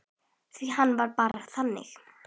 Því hann var bara þannig.